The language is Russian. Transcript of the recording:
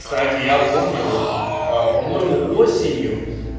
кстати я помню вот по-моему осенью